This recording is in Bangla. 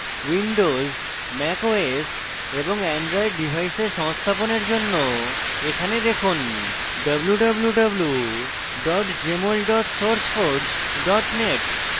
windows mac os এবং অ্যান্ড্রয়েড ডিভাইসে সংস্থাপনের জন্য এখানে দেখুন www jmol sourceforge net